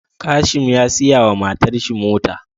Kashim ya siya wa matar shi mota